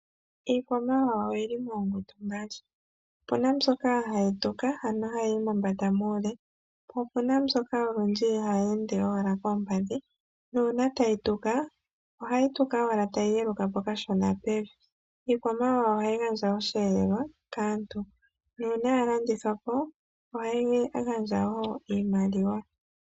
Iikwamawawa oyi li moongundu mbali opuna mbyoka hai tuka ano hayiyi mombanda muule po opuna mbyoka olundji hayeende owala pevi nuuna tai tuka ohai tuka owala tai yi ye lukapo kashona pevi, iikwamawawa ohai gandja oshiyelelwa kaantu nuuna yalandithwapo ohai gandja woo iimaliwa